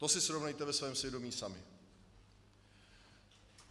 To si srovnejte ve svém svědomí sami.